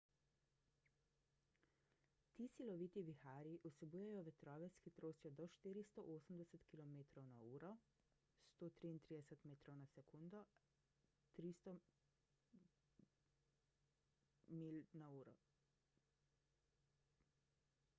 ti siloviti viharji vsebujejo vetrove s hitrostjo do 480 km/h 133 m/s; 300 mph